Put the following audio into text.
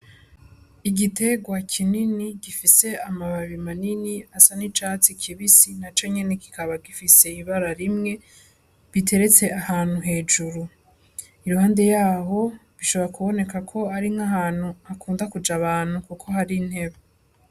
Igitegwa kinini gifise amababi manini gisa n'icatsi kibisi naco nyene kikaba gifise ibara rimwe biteretse ahantu hejuru iruhande yaho bishobora kuboneka ko ari nkahantu hakunda kuja abantu kuko hari intebe.